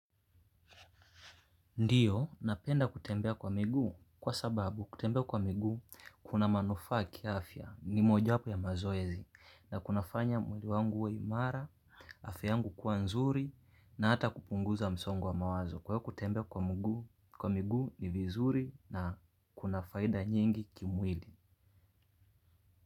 Ndio, napenda kutembea kwa miguu kwa sababu kutembea kwa miguu kuna manufaa kiafya. Ni mojawapo ya mazoezi na kunafanya mwili wangu uwe imara, afya yangu kuwa nzuri na hata kupunguza msongo wa mawazo. Kwa hiyo kutembea kwa miguu ni vizuri na kuna faida nyingi kimwili.